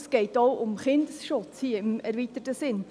Es geht hier auch um Kindesschutz im erweiterten Sinn.